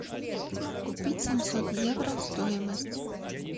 купить семьсот евро стоимость